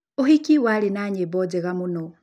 Ũhiki warĩ na nyĩmbo njega mũno